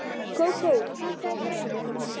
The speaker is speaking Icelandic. Kókó, hækkaðu í græjunum.